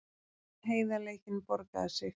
Heiðarleikinn borgaði sig